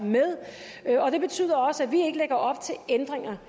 med og det betyder også at vi ikke lægger op til ændringer